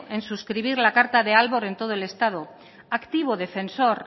en suscribir la carta de aalborg en todo el estado activo defensor